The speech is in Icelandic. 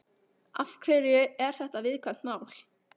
Af hverju er þetta viðkvæmt mál?